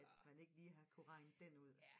At man ikke lige har kunne regne den ud